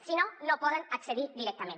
si no no hi poden accedir directament